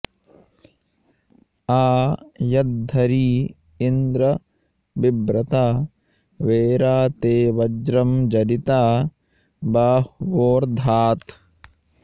आ यद्धरी इन्द्र विव्रता वेरा ते वज्रं जरिता बाह्वोर्धात्